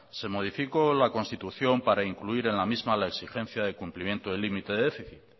se modificó la constitución para incluir en la misma la exigencia del cumplimiento del límite de déficit